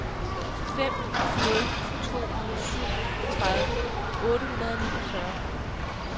fem nul to syv tredive otte hundrede og niogfyrre